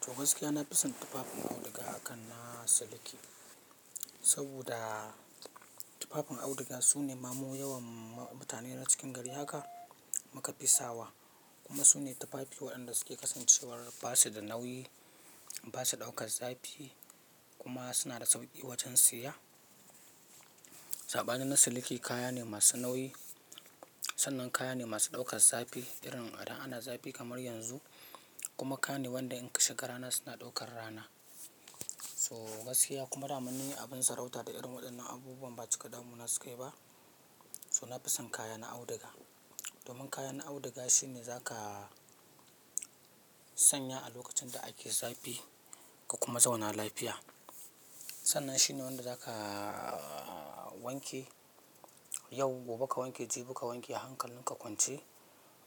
To gaskiya, na fi son tufafin auduga aka na siliki. Saboda tufafin auduga sune ma mu yawan mutane na cikin gari haka muka fi sawa. Kuma sune tufafi waɗanda suke kasancewar ba su da nauyi, ba su ɗaukar zafi, kuma suna da sauƙi wajen siya. Saɓanin na siliki kaya ne masu nauyi. Sannan kaya ne masu ɗaukar zafi, irin idan ana zafi kamar yanzu kuma kaya ne wanda in ka shiga rana suna ɗaukar rana. To gaskiya kuma daman ni abun sarauta da irin waɗannan abubuwan ba cika damuwa na sukayi ba. To na fi son kaya na auduga. Domin kaya na auduga shine za ka sanya a lokacin da ake zafi ka kuma zauna lafiya. Sannan shi ne wanda za ka wanke yau, gobe ka wanke, jibi ka wanke hankalin ka kwance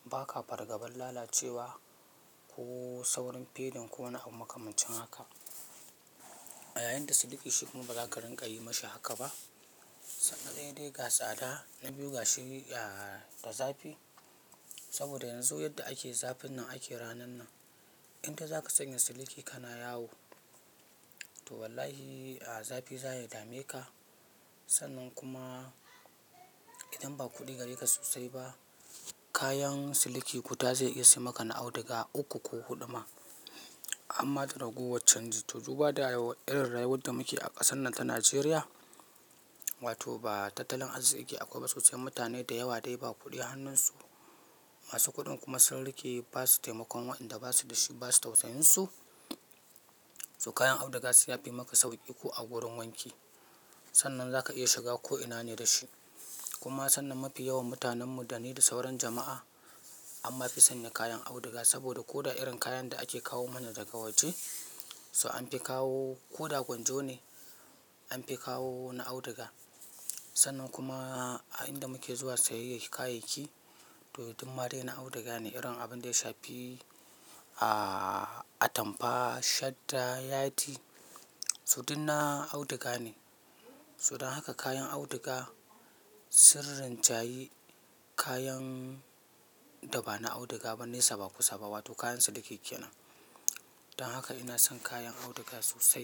ba ka fargabar lalacewa, ko saurin fading ko wani abu makamancin haka. A yayin da siliki shi kuma ba za ka rinƙa yi mashi haka ba. Na ɗaya dai ga tsada, na biyu ga shi da zafi. Saboda yanzu yadda ake zafin nan ake ranan nan. Indai za ka sanya siliki ka na yawo, to wallahi zafi za ya dame ka. Sannan kuma, idan ba kuɗi gare ka sosai ba kayan siliki guda zai iya sai maka na auduga uku ko huɗu ma. Harma da ragowar can ji, to duba da- irin rayuwar da muke a ƙasar nan ta Najeriya, wato ba tattalin arziƙi akwai ba sosai. Mutane da yawa dai ba kuɗi hannunsu. Masu kuɗin kuma sun riƙe, ba su taimakon wa'inda ba su da shi ba su tausayin su, to kayan auduga se yafi maka sauƙi ko a gurin wanki. Sannan za ka iya shiga ko'ina ne da shi. Kuma sannan mafi yawan mutanen mu da ni da sauran jama'a amma fi sanya kayan auduga saboda ko da irin kayan da ake kawo mana daga waje, so an fi kawo, ko da gwanjo ne, an fi kawo na auduga, sannan kuma a inda muke zuwa sayayyan kayayyaki, to dummadai na auduga ne, irin abun da ya shafi atamfa, shadda, yadi, so duk na auduga ne. So dan haka kayan auduga sun rinjayi kayan da ba na auduga ba nesa ba kusa ba, wato kayan siliki kenan. Dan haka ina son kayan auduga sosai.